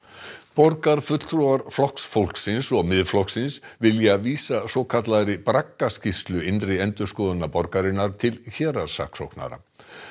borgarfulltrúar Flokks fólksins og Miðflokksins vilja vísa svokallaðri braggaskýrslu innri endurskoðunar borgarinnar til héraðssaksóknara